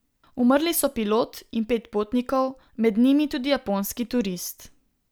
Umrli so pilot in pet potnikov, med njimi tudi japonski turist.